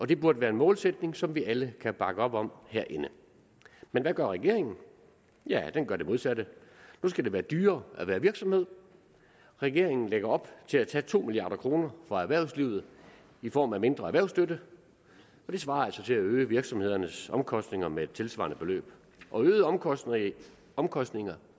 det burde være en målsætning som vi alle kan bakke op om herinde men hvad gør regeringen ja den gør det modsatte nu skal det være dyrere at være virksomhed regeringen lægger op til at tage to milliard kroner fra erhvervslivet i form af mindre erhvervsstøtte det svarer altså til at øge virksomhedernes omkostninger med et tilsvarende beløb og øgede omkostninger i omkostninger